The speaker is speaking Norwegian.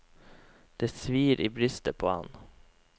Det svir i brystet på ham.